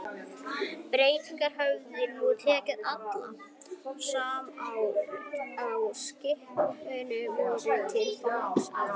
Bretar höfðu nú tekið alla, sem á skipinu voru, til fanga, alls